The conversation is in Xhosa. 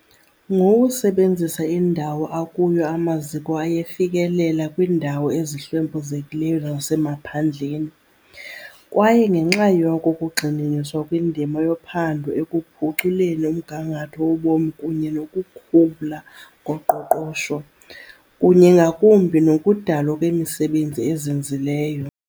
Ngokusebenzisa indawo akuyo amaziko ayefikelela kwiindawo ezihlwempuzekileyo zasemaphandleni, kwaye ngenxa yoko kugxininiswa kwindima yophando ekuphuculeni umgangatho wobomi kunye nokukhula koqoqosho, kunye ngakumbi nokudalwa kwemisebenzi ezinzileyo.